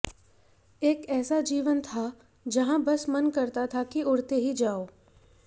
एक एेसा जीवन था जहां बस मन करता था कि उड़ते ही जाअो